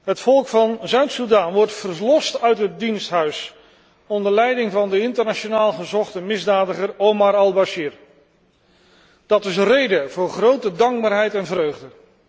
Het volk van Zuid Soedan wordt verlost uit het diensthuis dat onder leiding staat van de internationaal gezochte misdadiger Omar Al Bashir. Dat is een reden voor grote dankbaarheid en vreugde.